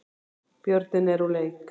Björninn er úr leik